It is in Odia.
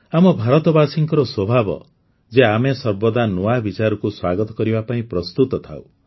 ଆମ ଭାରତବାସୀଙ୍କର ସ୍ୱଭାବ ଯେ ଆମେ ସର୍ବଦା ନୂଆ ବିଚାରକୁ ସ୍ୱାଗତ କରିବା ପାଇଁ ପ୍ରସ୍ତୁତ ଥାଉ